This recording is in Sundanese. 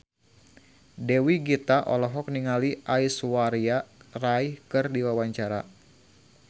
Dewi Gita olohok ningali Aishwarya Rai keur diwawancara